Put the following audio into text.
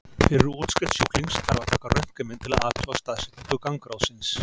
Fyrir útskrift sjúklings þarf að taka röntgenmynd til að athuga staðsetningu gangráðsins.